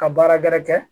Ka baara gɛrɛ